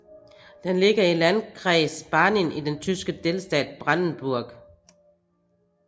Den ligger i landkreis Barnim i den tyske delstat Brandenburg